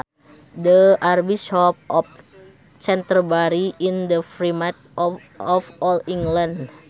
The Archbishop of Canterbury is the Primate of all England